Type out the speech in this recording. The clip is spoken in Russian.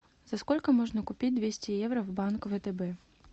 за сколько можно купить двести евро в банк втб